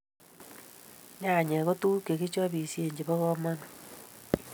Nyanyek ko tuguk chekichopisie chebo kamanut